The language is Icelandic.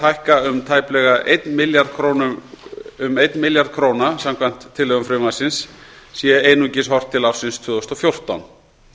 hækka um tæplega eitt milljarð króna samkvæmt tillögum frumvarpsins sé einungis horft til ársins tvö þúsund og fjórtán